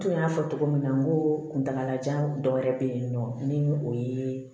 Tun y'a fɔ cogo min na ko kuntaalajan dɔ wɛrɛ bɛ yen nɔ ni o ye